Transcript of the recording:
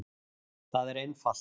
Það er einfalt.